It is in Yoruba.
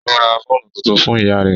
Ó ra fóònù tuntun fún ìyá rẹ́